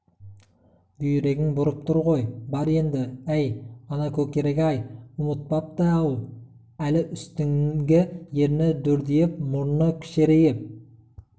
бүйрегің бүрып тұр ғой бар еңді әй ана көкірек-ай ұмытпапты-ау әлі үстіңгі ерні дүрдиіп мұрны кішірейіп